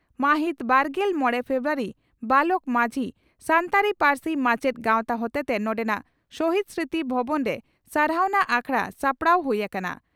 ᱢᱟᱦᱤᱛ ᱵᱟᱨᱜᱮᱞ ᱢᱚᱲᱮ ᱯᱷᱮᱵᱨᱩᱣᱟᱨᱤ (ᱵᱟᱞᱚᱠ ᱢᱟᱡᱷᱤ) ᱺ ᱥᱟᱱᱛᱟᱲᱤ ᱯᱟᱹᱨᱥᱤ ᱢᱟᱪᱮᱛ ᱜᱟᱣᱛᱟ ᱦᱚᱛᱮᱛᱮ ᱱᱚᱰᱮᱱᱟᱜ ᱥᱚᱦᱤᱫᱽ ᱥᱢᱨᱩᱛᱤ ᱵᱷᱚᱵᱚᱱᱨᱮ ᱥᱟᱨᱦᱟᱣᱱᱟ ᱟᱠᱷᱲᱟ ᱥᱟᱯᱲᱟᱣ ᱦᱩᱭ ᱟᱠᱟᱱᱟ ᱾